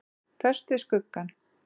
Föst við skuggann.